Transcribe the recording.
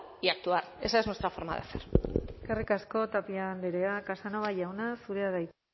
y actuar esa es nuestra forma de hacer eskerrik asko tapia andrea casanova jauna zurea da hitza